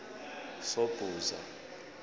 sobhuza